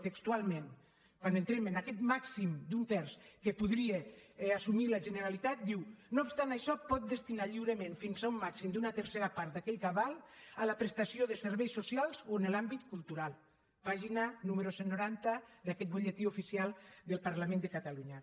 textualment quan entrem en aquest màxim d’un terç que podria assumir la generalitat diu no obstant això pot destinar lliurement fins a un màxim d’una tercera part d’aquell cabal a la prestació de serveis socials o en l’àmbit cultural pàgina número cent i noranta d’aquest butlletí oficial del parlament de catalunya